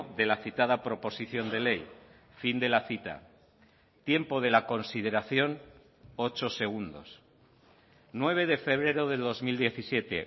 de la citada proposición de ley fin de la cita tiempo de la consideración ocho segundos nueve de febrero del dos mil diecisiete